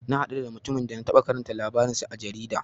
Na haɗu da mutumin da na taɓa karanta labarin sa a jarida.